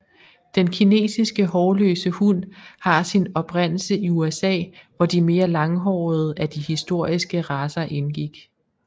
Den kinesiske hårløse hund har sin oprindelse i USA hvor de mere langhårede af de historiske racer indgik